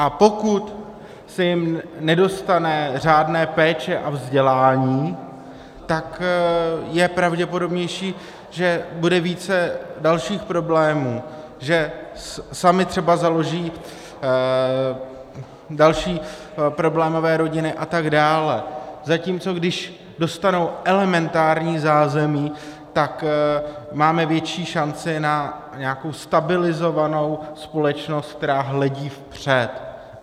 A pokud se jim nedostane řádné péče a vzdělání, tak je pravděpodobnější, že bude více dalších problémů, že samy třeba založí další problémové rodiny a tak dále, zatímco když dostanou elementární zázemí, tak máme větší šanci na nějakou stabilizovanou společnost, která hledí vpřed.